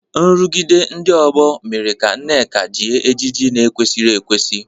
Nrụgide ndị ọgbọ mere ka Nneka jie ejiji na-ekwesịghị ekwesị.